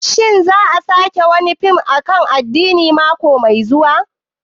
Shin za a saki wani fim akan addini mako mai zuwa?